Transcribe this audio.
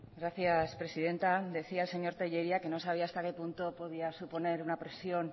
gracias presidenta decía el señor tellería que no sabía hasta que punto podía suponer una presión